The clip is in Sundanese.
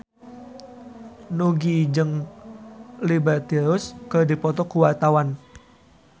Nugie jeung Liberty Ross keur dipoto ku wartawan